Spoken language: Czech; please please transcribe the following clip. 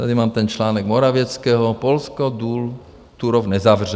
Tady mám ten článek Morawieckého - "Polsko důl Turów nezavře".